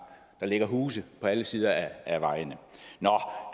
ligger huse på alle sider af vejene nå